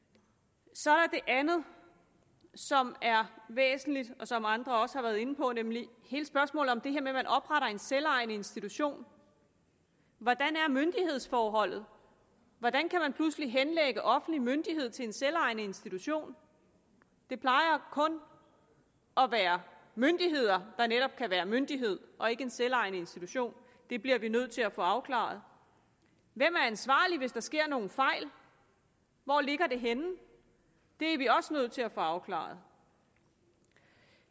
så er der det andet som er væsentligt og som andre også har været inde på nemlig hele spørgsmålet om det her med at man opretter en selvejende institution hvordan er myndighedsforholdet hvordan kan man pludselig henlægge offentlig myndighed til en selvejende institution det plejer kun at være myndigheder der netop kan være myndighed og ikke en selvejende institution det bliver vi nødt til at få afklaret hvem er ansvarlig hvis der sker nogen fejl hvor ligger det henne det er vi også nødt til at få afklaret